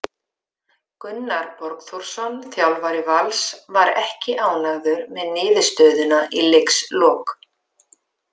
Gunnar Borgþórsson þjálfari Vals var ekki ánægður með niðurstöðuna í leikslok.